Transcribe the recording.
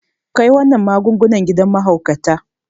Kai wannan magungunan gidan mahaukata.